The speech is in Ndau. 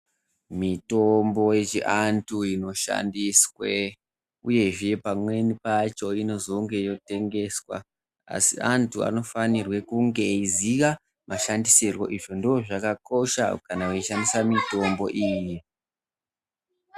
Mitombo yechiantu inoshandiswe uyehe pamweni pacho inozenge yotengeswa asi antu anofanirwe kunge eiziya mashandisirwo. Izvi ndozvakakosha kana veishandisa mitombo iyi. zvi ndizvo zvakakosha kana eishandise mitombo iyi.